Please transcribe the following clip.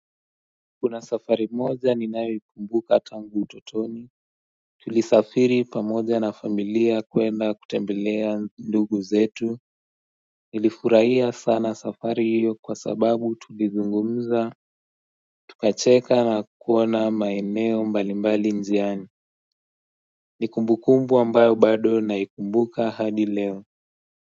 Kuna safari moja ninayoikumbuka tangu utotoni Tulisafiri pamoja na familia kwenda kutembelea ndugu zetu Nilifurahia sana safari hiyo kwa sababu tulizungumza Tukacheka na kuona maeneo mbalimbali njiani ni kumbukumbu ambayo bado naikumbuka hadi leo.